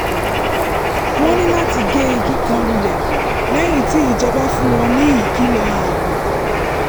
wọ́n ní láti gé igi kan lulẹ̀ lẹ́yìn tí ìjọba fún wọn ní ìkìlọ̀ ààbò